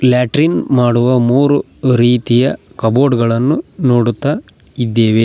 Latrine ಮಾಡುವ ಮೂರು ರೀತಿಯ ಕಬೋರ್ಡ್ ಗಳನ್ನು ನೋಡುತ್ತಾ ಇದ್ದೇವೆ.